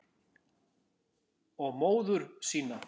Og móður sína.